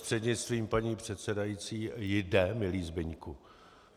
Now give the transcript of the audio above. Prostřednictvím paní předsedající, jde, milý Zbyňku.